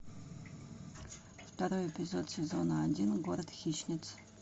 второй эпизод сезона один город хищниц